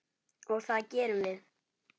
Og það gerum við.